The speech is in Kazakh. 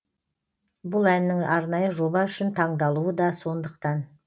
бұл әннің арнайы жоба үшін таңдалуы да сондықтан